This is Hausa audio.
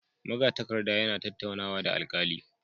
Magatakarda yana tattaunawa da alkali